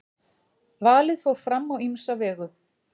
valið fór fram á ýmsa vegu